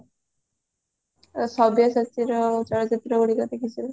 ସବ୍ୟସାଚୀର ମୁଁ ଚଳଚିତ୍ର ଗୁଡିକ ମୁଁ ଦେଖିଚି ସବୁ